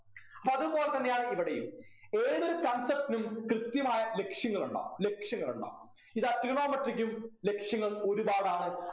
അപ്പൊ അതുപോലെ തന്നെയാണ് ഇവിടെയും ഏതൊരു concept നും കൃത്യമായ ലക്ഷ്യങ്ങളുണ്ടാകും ലക്ഷ്യങ്ങളുണ്ടാകും ഇതാ trigonometry ക്കും ലക്ഷ്യങ്ങൾ ഒരുപാടാണ്